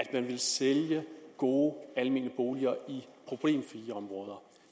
at sælge gode almene boliger i problemfri områder